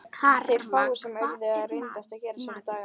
Þeir fáu sem urðu eftir reyndu að gera sér dagamun.